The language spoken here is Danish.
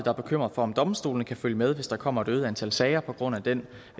er bekymret for om domstolene kan følge med hvis der kommer et øget antal sager på grund af den